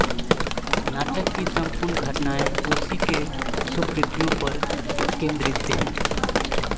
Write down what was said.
नाटक की सम्पूर्ण घटनाएँ उसी के सुकृत्यों पर केन्द्रित हैं